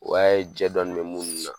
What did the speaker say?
O y'a ye jɛ dɔɔni bɛ munnu na.